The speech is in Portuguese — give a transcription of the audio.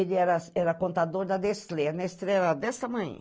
Ele era era contador da Nestlé, a Nestlé era desse tamainho.